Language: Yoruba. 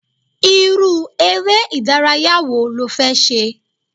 Irú ere ìdárayá wo lo fẹ́ ṣe?